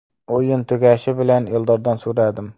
O‘yin tugashi bilan Eldordan so‘radim.